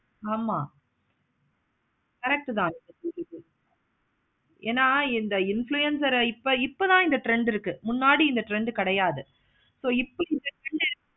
ஆமா correct உ தான் ஏன இந்த influencer ஆஹ் இப்ப இப்ப தான் trend இருக்கு முன்னாடி trend கிடையாது. so இப்ப இந்த trend உ